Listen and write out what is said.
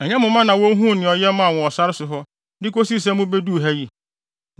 Ɛnyɛ mo mma na wohuu nea ɔyɛ maa mo wɔ sare so hɔ de kosii sɛ mubeduu ha yi;